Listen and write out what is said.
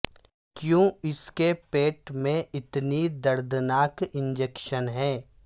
کیوں اس کے پیٹ میں اتنی دردناک انجیکشن ہے